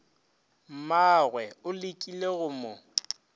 mmagwe o lekile go mo